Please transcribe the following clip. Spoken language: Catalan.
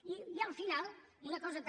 i al final una cosa també